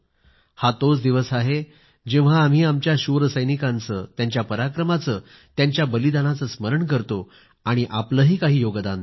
हा तोच दिवस आहे जेव्हा आम्ही आमच्या शूर सैनिकांचे त्यांच्या पराक्रमाचे त्यांच्या बलिदानाचे स्मरण करतो आणि आपलेही काही योगदान देतो